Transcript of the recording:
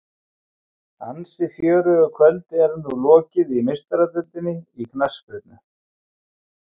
Ansi fjörugu kvöldi er nú lokið í Meistaradeildinni í knattspyrnu.